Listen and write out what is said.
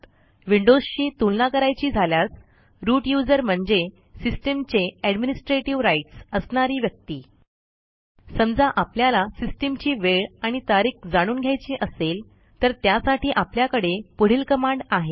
विंडोजशी तुलना करायची झाल्यास रूट यूझर म्हणजे सिस्टम चे एडमिनिस्ट्रेटिव्ह rightsअसणारी व्यक्ती समजा आपल्याला सिस्टीमची वेळ आणि तारीख जाणून घ्यायची असेल तर त्यासाठी आपल्याकडे पुढील कमांड आहे